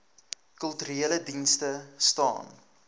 kulturele dienste staan